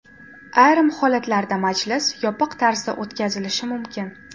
Ayrim holatlarda majlis yopiq tarzda o‘tkazilishi mumkin.